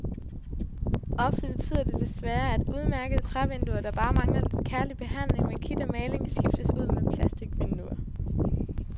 Ofte betyder det desværre, at udmærkede trævinduer, der bare mangler lidt kærlig behandling med kit og maling, skiftes ud med plasticvinduer.